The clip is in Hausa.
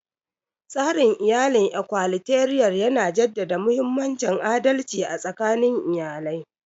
Tsarin iyalin Ikwalateral yana jaddada mahimmancin adalci a tsakanin iyali.